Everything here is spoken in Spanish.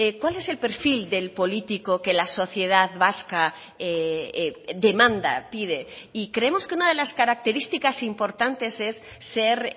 cuál es el perfil del político que la sociedad vasca demanda pide y creemos que una de las características importantes es ser